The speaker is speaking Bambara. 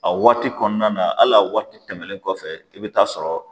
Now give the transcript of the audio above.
A waati kɔnɔna na hal'a waati tɛmɛlen kɔfɛ i bɛ taa sɔrɔ